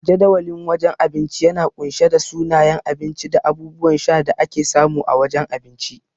Jadawalin wajen abinci yana kunshe da sunayen abinci da abubuwan sha da ake samu a wajen abinci.